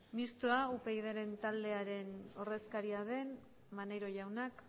mixtoa upydren taldearen ordezkaria den maneiro jaunak